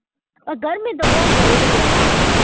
ગરમી તો બઉ પડી યાર